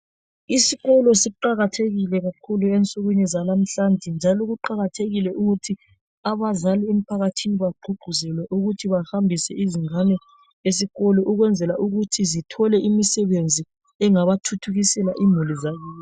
Isikolo siqakathekile kakhulu ensukwini zalamuhlanje njalo kuqakathekile ukuthi abazali emphakathini bagqugquzelwe ukuthi bahambise izingane esikolo ukwenzela ukuthi zithole imisebenzi engabathuthukisela imuli zabo.